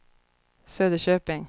Söderköping